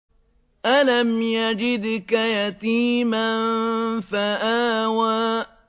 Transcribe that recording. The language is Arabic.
أَلَمْ يَجِدْكَ يَتِيمًا فَآوَىٰ